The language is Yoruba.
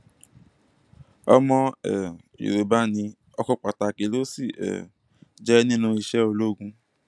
ọmọ um yorùbá ní ọkan pàtàkì ló sì um jẹ nínú iṣẹ ológun